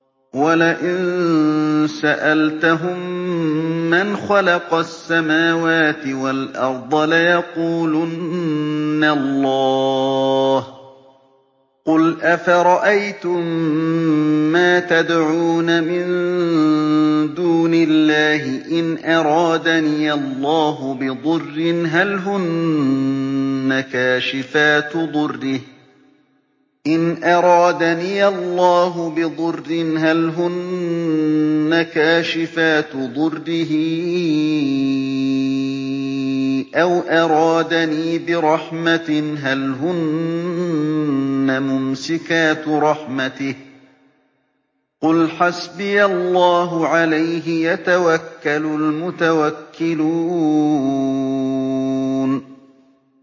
وَلَئِن سَأَلْتَهُم مَّنْ خَلَقَ السَّمَاوَاتِ وَالْأَرْضَ لَيَقُولُنَّ اللَّهُ ۚ قُلْ أَفَرَأَيْتُم مَّا تَدْعُونَ مِن دُونِ اللَّهِ إِنْ أَرَادَنِيَ اللَّهُ بِضُرٍّ هَلْ هُنَّ كَاشِفَاتُ ضُرِّهِ أَوْ أَرَادَنِي بِرَحْمَةٍ هَلْ هُنَّ مُمْسِكَاتُ رَحْمَتِهِ ۚ قُلْ حَسْبِيَ اللَّهُ ۖ عَلَيْهِ يَتَوَكَّلُ الْمُتَوَكِّلُونَ